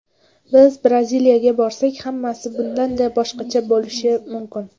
Biz Braziliyaga borsak hammasi bundanda boshqacha bo‘lishi mumkin.